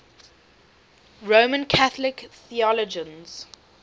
roman catholic theologians